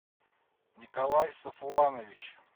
николай сафуанович